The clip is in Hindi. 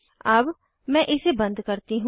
अब मैं इसे बंद करती हूँ